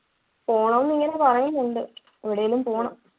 പോണം ന്നു ഇങ്ങനെ പറയുന്നുണ്ട്. എവിടേലും പോണം.